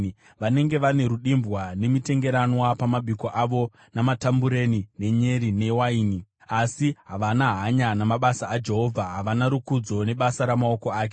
Vanenge vane rudimbwa, nemitengeranwa pamabiko avo, namatambureni, nenyere newaini, asi havana hanya namabasa aJehovha, havana rukudzo nebasa ramaoko ake.